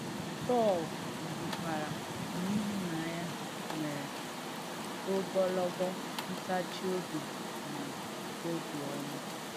Pọ̀l̀ kwùkwàrà nà ìhúnànyà nwèrè ògọlọ̀g̣ọ̀ ǹtáchì òbì nà òbìọ́mà.